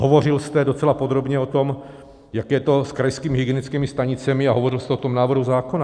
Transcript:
Hovořil jste docela podrobně o tom, jak je to s krajskými hygienickými stanicemi, a hovořil jste o tom návrhu zákona.